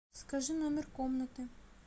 скажи номер комнаты